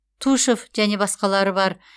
тушв және басқалары бар